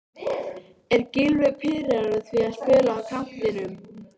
Er Gylfi pirraður á því að spila á kantinum?